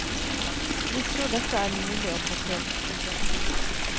Vi tror dette er mulig å få til. punktum